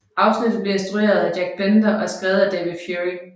Afsnittet blev instrueret af Jack Bender og skrevet af David Fury